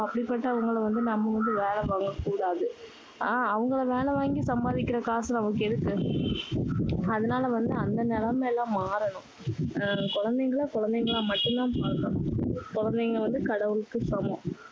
அப்படிபட்டவங்களை வந்து நம்ம வந்து வேலை வாங்க கூடாது. அஹ் அவங்களை வேலை வாங்கி சம்பாதிக்கிற காசு நமக்கு எதுக்கு? அதனால வந்து அந்த நிலைமை எல்லாம் மாறணும். அஹ் குழந்தைங்களை குழந்தைங்களா மட்டும் தான் பாக்கணும். குழந்தைங்கள் வந்து கடவுளுக்கு சமம்.